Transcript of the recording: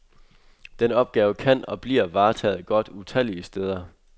Den opgave kan og bliver varetaget godt utallige steder.